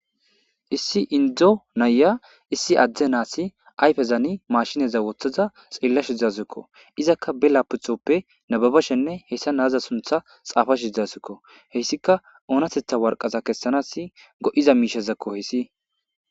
Issi inddo naya issi adde nasi ayfen maashineza woththada diza tsellashsha dawusuko. Izakka ba lapitooppe nababashenne heza naaza sunththa tsaafashi doosona. He issikka oonatetta Woraqate tsakashenassi go'iza misha koyis.